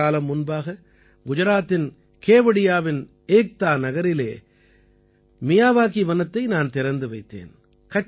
சில காலம் முன்பாக குஜராத்தின் கேவடியாவின் ஏக்தா நகரிலே மியாவாகி வனத்தை நான் திறந்து வைத்தேன்